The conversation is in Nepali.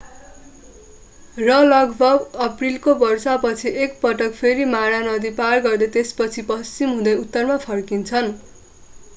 र लगभग अप्रिलको वर्षा पछि एकपटक फेरि मारा नदी पार गर्दै त्यसपछि पश्चिम हुँदै उत्तरमा फर्किन्छन्